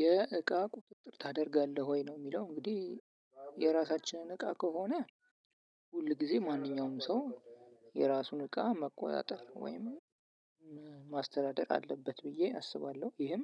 የእቃ ቁጥጥር ታደርጋለህ ወይ ነው የሚለው እንግዲህ የራሳችንን እቃ ከሆነ ሁል ጊዜ ማንኛውም ሰው የራሱን እቃ መቆጣጠር ወይም ማስተዳደር አለበት ብዬ አስባለሁ። ይሄም